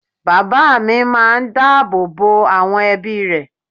Bàbá máa n dá àbò bo àwọn ebí rẹ̀